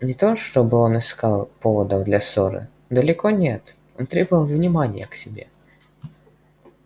не то чтобы он искал поводов для ссоры далеко нет он требовал внимания к себе